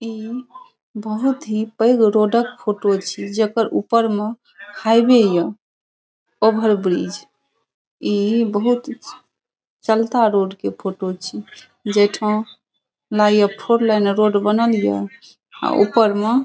ई बहुत ही पैग रोड क फ़ोटो छी जकर ऊपर में हाईवे हिअ ओवर ब्रिज ई बहुत चलता रोड के फोटो छी जेठा ई नये फोर लाइन रोड बनल या अ ऊपर में --